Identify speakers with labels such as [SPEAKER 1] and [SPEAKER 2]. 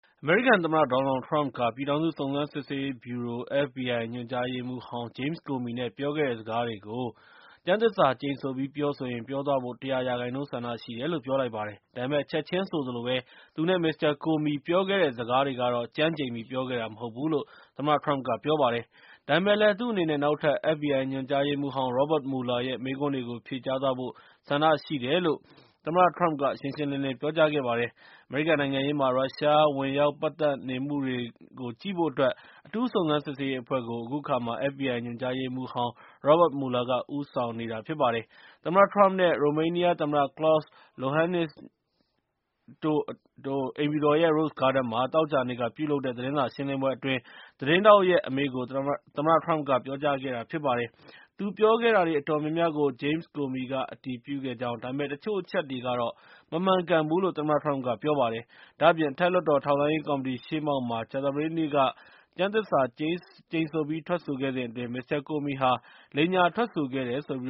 [SPEAKER 1] အမေရိကန်သမ္မတ ဒေါ်နယ်လ်ထရမ့်က ပြည်ထောင်စု စုံစမ်းစစ်ဆေးရေးဗြူရို FBI ညွှန်ကြားရေးမှူးဟောင်း Jame Comey နဲ့ ပြောခဲ့တဲ့စကားတွေကို ကျမ်းသစ္စာကျိန်ဆိုပြီးပြောဆိုရင် ပြောသွားဖို့ ၁၀၀ % ဆန္ဒရှိတယ်လို့ ပြောလိုက်ပါတယ်။ ဒါပေမဲ့ ချက်ချင်းဆိုသလိုပဲ သူနဲ့ မစ္စတာ Comey နဲ့ ပြောခဲ့တဲ့ စကားတွေကတော့ ကျမ်းကျိန်ပြီး ပြောခဲ့တဲ့ မဟုတ်ဘူးလို့ သမ္မတထရမ့်က ပြောပါတယ်။ ဒါပေမဲ့လည်း သူ့အနေနဲ့ နောက်ထပ် FBI ညွှန်ကြားရေးမှူးဟောင်း Robert Muller ရဲ့ မေးခွန်းတွေကို ဖြေကြားသွားဖို့ ဆန္ဒရှိတယ်လို့ သမ္မတ ထရမ့်က ရှင်းရှင်းလင်းလင်း ပြောကြားခဲ့ပါတယ်။ အမေရိကန်နိုင်ငံရေးမှာ ရုရှားဝင်ရောက်ပတ်သတ်နေမှုတွေကိုကြည့်ဖို့အတွက် အထူးစုံစမ်းစစ်ဆေးရေးအဖွဲ့ကို FBI ညွှန်ကြားရေမှူးဟောင်း Robert Muller က ဦးဆောင်သွားမှာဖြစ်ပါတယ်။ သမ္မတထရမ့် နဲ့ ရိုမေးနီးယားသမ္မတ Klaus Lohannis နဲ့ အတူ အိမ်ဖြူတော်ရဲ့ Rose Garden မှာ သောကြာနေ့က ပြုလုပ်တဲ့ သတင်းစာရှင်းလင်းပွဲအတွင်း သတင်းထောက်ရဲ့ အမေးကို သမ္မတထရမ့်က ပြောကြားခဲ့တာဖြစ်ပါတယ်။ သူပြောခဲ့တာတွေအတော်များများကို James Comey က အတည်ပြုခဲ့ကြောင့်၊ ဒါပေမဲ့ တချို့အချက်တွေကတော့ မမှန်ကန်ဘူးလို့ သမ္မတထရမ့်က ပြောကြားလိုက်ပါတယ်။ ဒါ့အပြင် အထက်လွှတ်တော် ထောက်လှမ်းရေးကော်မတီရှေ့မှောက်မှာ ကြာသပတေးနေ့က ကျမ်းသစ္စာကျိန်ဆိုပြီးထွက်ဆိုခဲ့စဉ်အတွင်း မစ္စတာကိုမီဟာ လိမ်ညာထွက်ဆိုခဲ့တယ်ဆိုပြီး